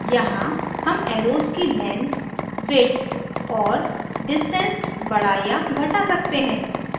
यहाँ हम एर्रोस की length width और distance बड़ा या घटा सकते हैं